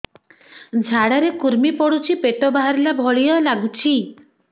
ଝାଡା ରେ କୁର୍ମି ପଡୁଛି ପେଟ ବାହାରିଲା ଭଳିଆ ଲାଗୁଚି